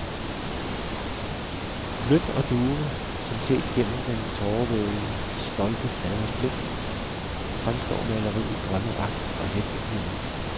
Blødt og duvende som set gennem den tårevædede stolte faders blik, fremstår maleriet drømmeagtigt og let uvirkeligt.